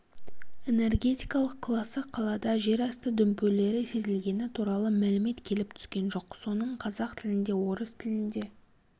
энергетикалық класы қалада жерасты дүмпулері сезілгені туралы мәлімет келіп түскен жоқ соның қазақ тілінде орыс тілінде